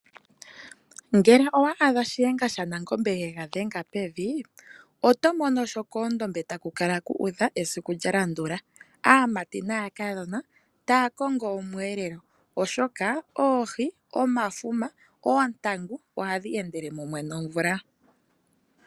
Ngele owa adha shiyenga shaNangombe yega dhenga pevi. Oto mono sho koondombe taku kala kuudha esiku lya landula . Kuna aamati naakadhona taya kongo omweelelo oshoka oohi, omafuma, oontangu ohadhi endele mumwe nomvula.